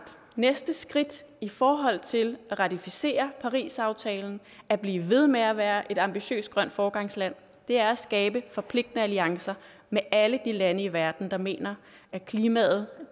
at næste skridt i forhold til at ratificere parisaftalen at blive ved med at være et ambitiøst grønt foregangsland er at skabe forpligtende alliancer med alle de lande i verden der mener at klimaet